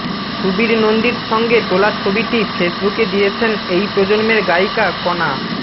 সুবীর নন্দীর সঙ্গে তোলা ছবিটি ফেসবুকে দিয়েছেন এই প্রজন্মের গায়িকা কনা